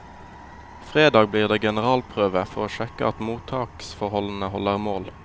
Fredag blir det generalprøve, for å sjekke at mottaksforholdene holder mål.